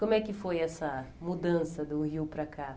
Como é que foi essa mudança do Rio para cá?